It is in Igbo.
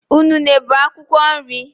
Unune bụ akwụkwọ nri.